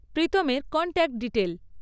প্রীতমের contact detail